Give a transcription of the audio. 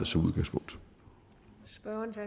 som udgangspunkt